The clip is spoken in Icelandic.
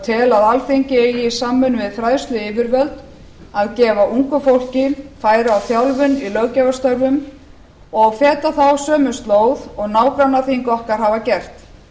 tel að alþingi eigi í samvinnu við fræðsluyfirvöld að gefa ungu fólki færi á þjálfun í löggjafarstörfum og feta þá sömu slóð og nágrannaþing okkar hafa gert